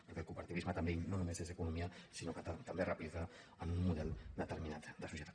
perquè el cooperativisme no només és economia sinó que també replica un model determinat de societat